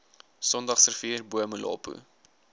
sondagsrivier bo molopo